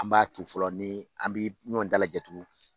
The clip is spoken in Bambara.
An m'a tu fɔlɔ ni an bɛ ɲɔn dalajɛ tugun.